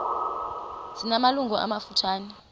zina malungu amafutshane